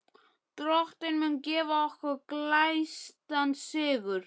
Drottinn mun gefa okkur glæstan sigur.